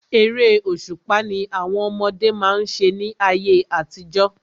Eré òṣùpá ni àwọn ọmọdé má ń ṣe ní ayé àtijọ́.